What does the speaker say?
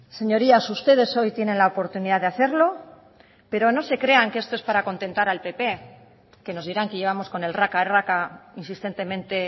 señorías ustedes hoy tienen la oportunidad de hacerlo pero no se crean que esto es para contentar al pp que nos dirán que llevamos con el raca raca insistentemente